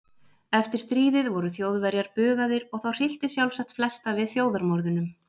Eftir stríðið voru Þjóðverjar bugaðir og þá hryllti sjálfsagt flesta við þjóðarmorðunum.